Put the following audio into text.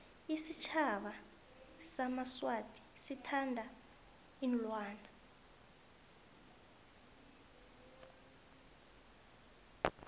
isitjhaba samaswati sithanda iinlwana